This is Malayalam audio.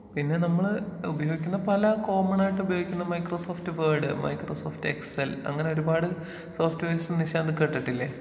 പിന്നെ നമ്മള് ഉപയോഗിക്കുന്ന പല കോമണായിട്ട് ഉപയോഗിക്കുന്ന മൈക്രോസോഫ്റ്റ് വേഡ് , മൈക്രോസോഫ്റ്റ് എക്സൽ അങ്ങനെ ഒരുപാട് സോഫ്റ്റ് വെയർസ് നിശാന്ത് കേട്ടിട്ടില്ലേ?